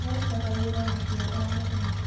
Marutaga wĩra na kĩo o mũthenya.